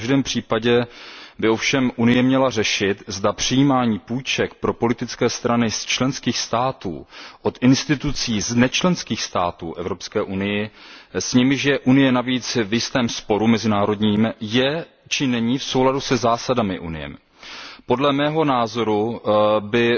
V každém případě by ovšem Evropská unie měla řešit, zda přijímání půjček pro politické strany z členských států od institucí z nečlenských států Evropské unie, s nimiž je Evropská unie navíc v jistém mezinárodním sporu, je či není v souladu se zásadami Evropské unie. Podle mého názoru by